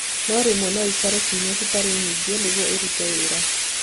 No rĩmwe no ikare ciumia citarĩ nyingĩ nĩguo ĩrute wĩra.